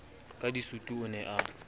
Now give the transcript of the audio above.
ka disutu o ne a